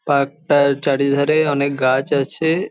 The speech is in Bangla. পার্ক -টার চারিধারে অনেক গাছ আছে ।